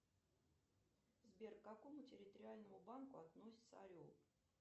сбер к какому территориальному банку относится орел